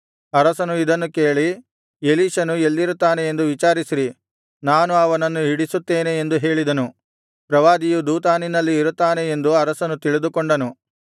ಅರಸನು ಇದನ್ನು ಕೇಳಿ ಎಲೀಷನು ಎಲ್ಲಿರುತ್ತಾನೆ ಎಂದು ವಿಚಾರಿಸಿರಿ ನಾನು ಅವನನ್ನು ಹಿಡಿಸುತ್ತೇನೆ ಎಂದು ಹೇಳಿದನು ಪ್ರವಾದಿಯು ದೋತಾನಿನಲ್ಲಿ ಇರುತ್ತಾನೆ ಎಂದು ಅರಸನು ತಿಳಿದುಕೊಂಡನು